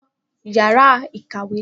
Fọ yàrá ìkàwé naa! Yóò wí.